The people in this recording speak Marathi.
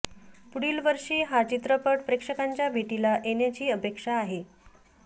पुढील वर्षी हा चित्रपट प्रेक्षकांच्या भेटीला येण्याची अपेक्षा आहे